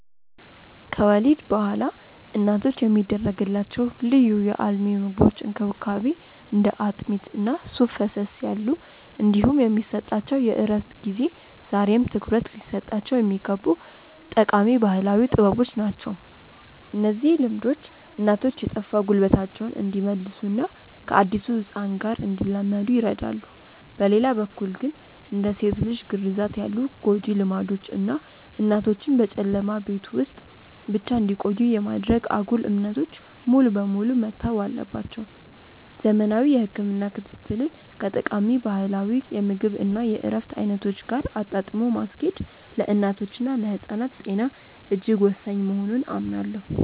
ከወሊድ በኋላ እናቶች የሚደረግላቸው ልዩ የአልሚ ምግቦች እንክብካቤ (እንደ አጥሚት እና ሱፍ ፈሰስ ያሉ) እንዲሁም የሚሰጣቸው የእረፍት ጊዜ ዛሬም ትኩረት ሊሰጣቸው የሚገቡ ጠቃሚ ባህላዊ ጥበቦች ናቸው። እነዚህ ልምዶች እናቶች የጠፋ ጉልበታቸውን እንዲመልሱና ከአዲሱ ህፃን ጋር እንዲላመዱ ይረዳሉ። በሌላ በኩል ግን፣ እንደ ሴት ልጅ ግርዛት ያሉ ጎጂ ልማዶች እና እናቶችን በጨለማ ቤት ውስጥ ብቻ እንዲቆዩ የማድረግ አጉል እምነቶች ሙሉ በሙሉ መተው አለባቸው። ዘመናዊ የህክምና ክትትልን ከጠቃሚ ባህላዊ የምግብ እና የእረፍት አይነቶች ጋር አጣጥሞ ማስኬድ ለእናቶችና ለህፃናት ጤና እጅግ ወሳኝ መሆኑን አምናለሁ።